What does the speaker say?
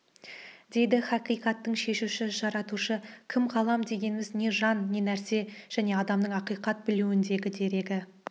дейді хақиқаттың шешуі жаратушы кім ғалам дегеніміз не жан не нәрсе және адамның ақиқатты білуіндегі дерегі